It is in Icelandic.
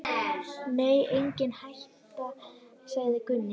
Nei, engin hætta, sagði Gunni.